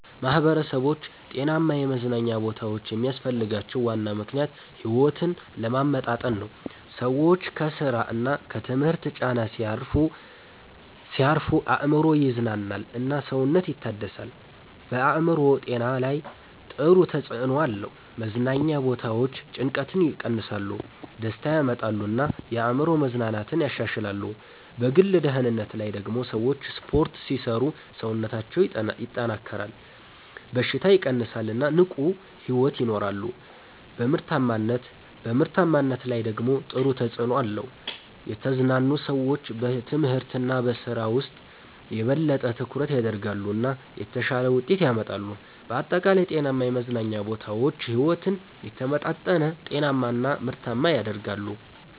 ማህበረሰቦች ጤናማ የመዝናኛ ቦታዎች የሚያስፈልጋቸው ዋና ምክንያት ሕይወትን ለማመጣጠን ነው። ሰዎች ከስራ እና ከትምህርት ጫና ሲያርፉ አእምሮ ይዝናናል እና ሰውነት ይታደሳል። በአእምሮ ጤና ላይ ጥሩ ተጽዕኖ አለው። መዝናኛ ቦታዎች ጭንቀትን ይቀንሳሉ፣ ደስታ ያመጣሉ እና የአእምሮ መዝናናትን ያሻሽላሉ። በግል ደህንነት ላይ ደግሞ ሰዎች ስፖርት ሲሰሩ ሰውነታቸው ይጠናከራል፣ በሽታ ይቀንሳል እና ንቁ ሕይወት ይኖራሉ። በምርታማነት ላይ ደግሞ ጥሩ ተጽዕኖ አለው። የተዝናኑ ሰዎች በትምህርት እና በስራ ውስጥ የበለጠ ትኩረት ያደርጋሉ እና የተሻለ ውጤት ያመጣሉ። በአጠቃላይ ጤናማ የመዝናኛ ቦታዎች ሕይወትን የተመጣጠነ፣ ጤናማ እና ምርታማ ያደርጋሉ።